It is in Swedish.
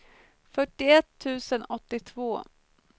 fyrtioett tusen åttiotvå